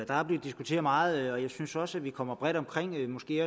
der er blevet diskuteret meget og jeg synes også vi kommer bredt omkring måske